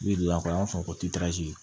Bi an b'a fɔ ko